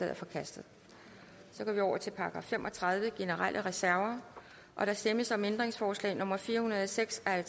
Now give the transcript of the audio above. er forkastet § fem og tredive generelle reserver der stemmes om ændringsforslag nummer fire hundrede og seks af